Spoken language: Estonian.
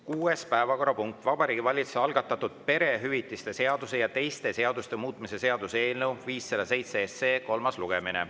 Kuues päevakorrapunkt: Vabariigi Valitsuse algatatud perehüvitiste seaduse ja teiste seaduste muutmise seaduse eelnõu 507 kolmas lugemine.